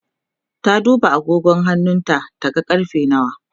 ta duba agogon hannuna ta ga karfe nawa